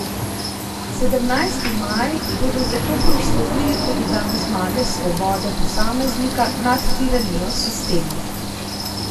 Sedemnajsti maj bodo zato proslavili kot dan zmage svobode posameznika nad tiranijo sistema.